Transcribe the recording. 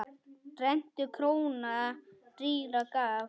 Rentu króna rýra gaf.